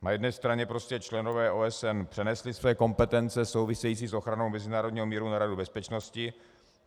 Na jedné straně prostě členové OSN přenesli své kompetence související s ochranou mezinárodního míru na Radu bezpečnosti.